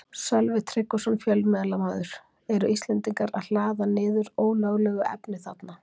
Sölvi Tryggvason, fjölmiðlamaður: Eru Íslendingar að hlaða niður ólöglegu efni þarna?